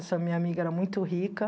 Essa minha amiga era muito rica.